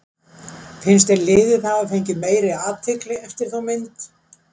Finnst þér liðið hafa fengið meiri athygli eftir þá mynd?